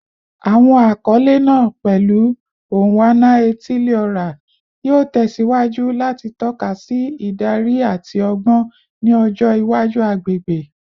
Awọn akọle naa, pẹlu “Onwa-na-etili-ora,” yoo tẹsiwaju lati tọka si idari ati ọgbọn ni ọjọ iwaju agbegbe